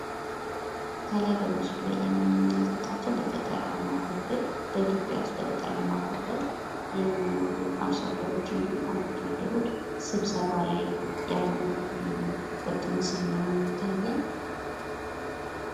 ከላይ በምስሉ ላይ የምንመለከታቸው በኢትዮጵያ በገጠራማው ክፍል የሚኖሩ አርሶ አደሮችን እንዲሁም አርብቶ አደሮች ስበሰባ ላይ ያሉበት ምስል ይታያል።